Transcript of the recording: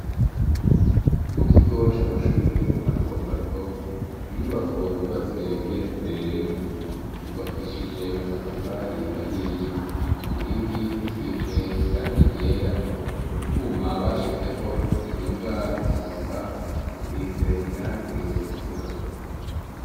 Mu kigo c'amashure mato mato, inyubako nyubatse igeretse rimwe, yubakishije amatafari ahiye, ku nkingi hasize irange ryera, utwuma bashizeho tukinga impanuka, dusize irangi ritukura.